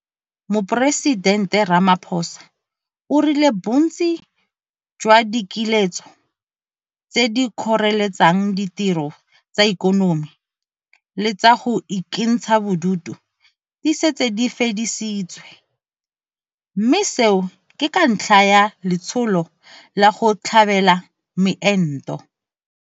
Moporesidente Ramaphosa o rile bontsi jwa dikiletso tse di kgoreletsang ditiro tsa ikonomi le tsa go ikentsha bodutu di setse di fedisitswe, mme seo ke ka ntlha ya letsholo la go tlhabela meento.